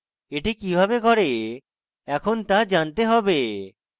এটি কিভাবে করে এখন তা জানতে হবে